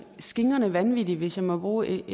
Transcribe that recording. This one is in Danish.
skingrende vanvittige hvis jeg må bruge